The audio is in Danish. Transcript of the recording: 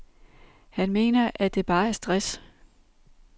Han mener, at det bare er stress.